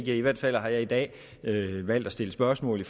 i hvert fald har jeg i dag valgt at stille spørgsmål